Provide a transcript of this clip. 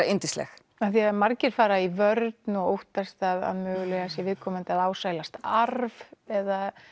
yndisleg af því margir fara í vörn og óttast að mögulega sé viðkomandi að ásælast arf eða